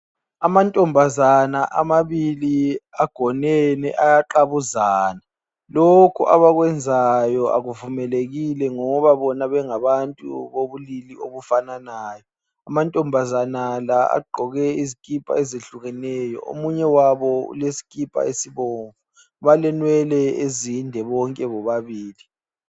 Amantombazana amabili agonene ayaqabuzana. Lokhu abakwenzayo akuvumelekile ngoba bona bengabantu bobulili obufananayo. Amantombazana la agqoke izikipa ezehlukeneyo. Omunye wabo ulesikipa esibomvu. Balenwele ezinde bonke bobabili.